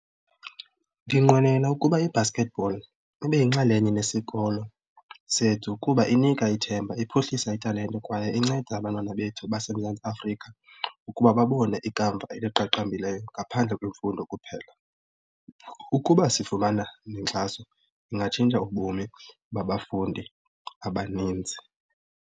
Ndinqwenela ukuba i-basketball ibe yinxalenye nesikolo sethu kuba inika ithemba, iphuhlisa italente kwaye inceda abantwana bethu baseMzantsi Afrika ukuba babone ikamva eliqaqambileyo ngaphandle kwemfundo kuphela. Ukuba sifumana nenkxaso ingatshintsha ubomi babafundi abaninzi.